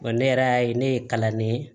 Wa ne yɛrɛ y'a ye ne ye kalan ne ye